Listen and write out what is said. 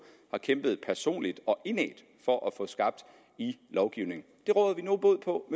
har kæmpet personligt og indædt for at få skabt i lovgivningen det råder vi nu bod på